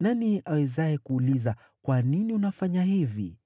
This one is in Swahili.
nani awezaye kuuliza, ‘Kwa nini unafanya hivi?’ ”